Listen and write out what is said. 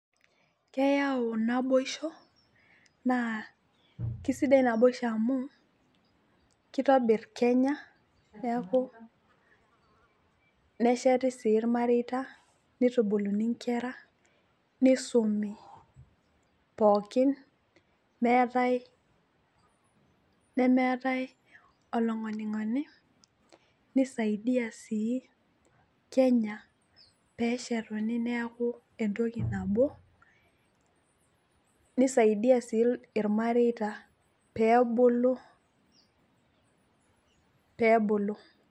Keyau naboisho naa kisidai naboisho amu kitobir kenya neeku , nesheti sii irmareita , nitubuluni inkera, nisumi pookin meetae, nemeetae olongonyingonyi nisaidia sii kenya peshetuni neaku entoki nabo nisaidia sii irmareita pebulu, pebulu.